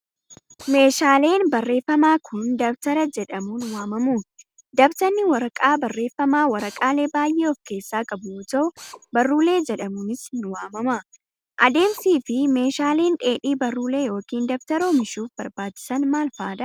Meeshaaleen barreeffama kun, dabtara jedhamuunn waamamu. Dabtarri waraqaa barreeffamaa waraqaalee baay'ee of keessaa qabu yoo ta'u, baruulee jedhamuunis ni waamama. Adeemsi fi meeshaaleen dheedhii baruulee yokin dabtara oomishuuf barbaachisan maal faa dha?